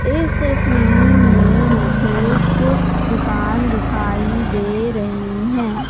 इस तस्वीर में मुझे कुछ दुकान दिखाई दे रही हैं।